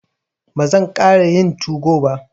Ba zan ƙara yin tugo ba.